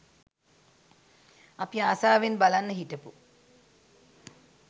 අපි ආසාවෙන් බලන්න හිටපු